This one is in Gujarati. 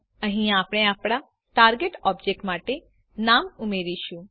અહીં આપણે આપણા ટાર્ગેટ ઓબ્જેક્ટ માટે નામ ઉમેરીશું